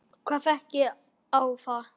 Hvað gekk á þá?